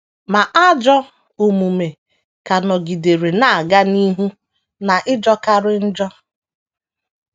Ma, ajọ omume ka nọgidere “ na - aga n’ihu n’ịjọkarị njọ. ”